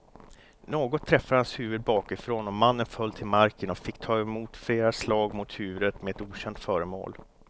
Något träffade hans huvud bakifrån och mannen föll till marken och fick ta emot flera slag mot huvudet med ett okänt föremål.